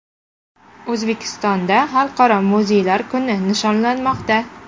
O‘zbekistonda Xalqaro muzeylar kuni nishonlanmoqda.